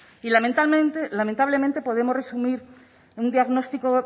y lamentablemente podemos resumir un diagnóstico